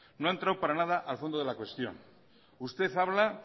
no ha entrado para nada al fondo de la cuestión usted habla